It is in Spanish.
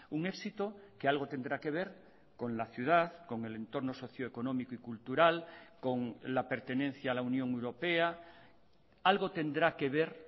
un éxito que algo tendrá que ver con la ciudad con el entorno socio económico y cultural con la pertenencia a la unión europea algo tendrá que ver